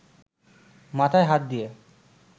মাথায় হাত দিয়ে